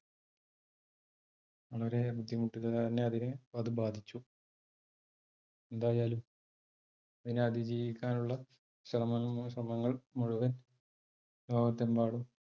വളരെ ബുദ്ധിമുട്ടുക തന്നെ അതിനെ അത് ബാധിച്ചു എന്തായാലും അതിനെ അതിജീവിക്കാനുള്ള ശ്രമങ്ങൾ മുഴുവൻ ലോകത്ത് എമ്പാടും,